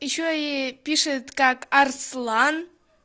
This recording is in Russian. ещё и пишет как арслан